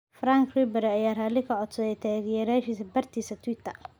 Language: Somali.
Franck Ribery aya ralin kacodsadhey tagyerashisa bartisaa Twitter.